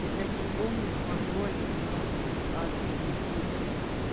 я блять не помню пароль нахуй от инсты блять